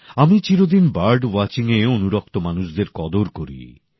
আমি চিরদিন বার্ড ওয়াচিংএ অনুরক্ত মানুষদের কদর করি